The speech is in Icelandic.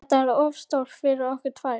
Þetta er of stórt fyrir okkur tvær.